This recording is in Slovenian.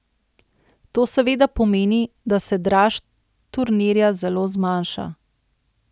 To seveda pomeni, da se draž turnirja zelo zmanjša.